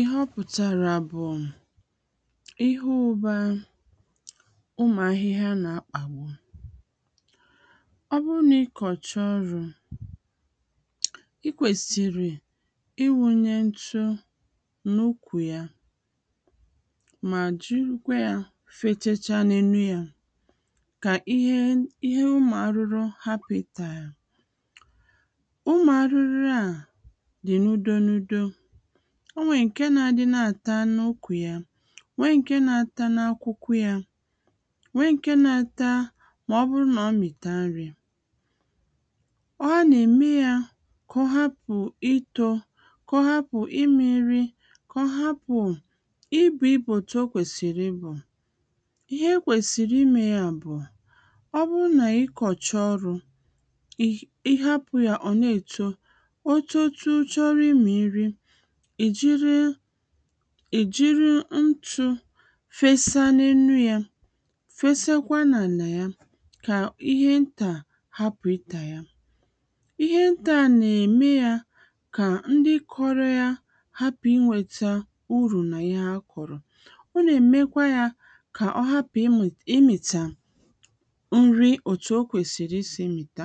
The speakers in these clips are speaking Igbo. ihe ọpụ̀tàrà bụ̀ ihe ụba ụmụ̀ ahihia nà akpàgbu ọbụrụ nà ịkọ̀chaa ọrụ̄ ikwèsìrì iwūnyē nchụ n’ukwù ya mà jụkwa ya fechecha na enu yā kà ihe ụmụ̀ arụrụ hapụ̀ ịtà ụmụ̀ arụrụ a dị̀ n’udō n’udō onwè ǹke nā-adị na àta n’ukwù ya nwee ǹke na ata na akwụkwụ yā nwee ǹke na ata mà ọbụrụ nà ọmị̀ta nrī ọ nà-ème yā kà ọhapụ̀ itō kà ọhapụ̀ ịmịrị̄ kà ọhapụ̀ ibù ibù otu okwèsị̀rị̀ ibù ihe ekwèsị̀rị̀ imē ya bụ̀ ọbụrụ nà ịkọ̀cha ọrụ̄ ìh ịhapụ̄ ya ọ̀ na ècho ochuchu chọrọ ịmị̀ nri èjiri èjiri nchụ̄ fesa na enu yā fesekwa nà ànà ya kà ihe ntà hapụ̀ ịtà ya ihe ǹta nà-ème yā kà ndị kọrọ yā hapụ̀ inwētā urù nà ihe ha kụ̀rụ̀ ọ nà-ème kwa yā kà ọ hapụ̀ ịmụ̀ ịmị̀tà nri òtù okwèsìrì isī mị̀ta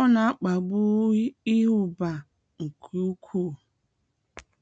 ọ nà akpàgbu iyi ụ̀bà ǹkè ukwū